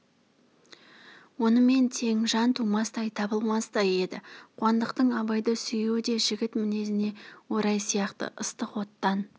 онымен тең жан тумастай табылмастай еді қуандықтың абайды сүюі де жігіт мінезіне орай сияқты ыстық оттан